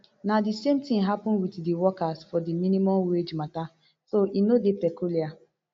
na di same tin happen wit di workers for di minimum wage matter so e no dey peculiar